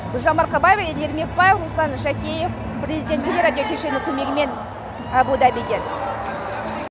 гүлжан марқабаева еділ ермекбаев руслан жакеев президент телерадио кешені көмегімен абу дабиден